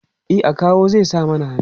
e akawu zai sa mana hannu